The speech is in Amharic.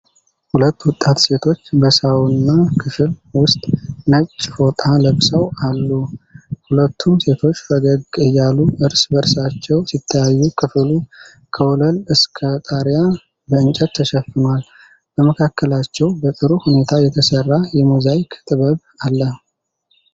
ሁለት ወጣት ሴቶች በሳውና ክፍል ውስጥ ነጭ ፎጣ ለብሰው አሉ። ሁለቱም ሴቶች ፈገግ እያሉ እርስ በእርሳቸው ሲተያዩ ክፍሉ ከወለል እስከ ጣሪያ በእንጨት ተሸፍኗል። በመካከላቸው በጥሩ ሁኔታ የተሠራ የሞዛይክ ጥበብ አለ።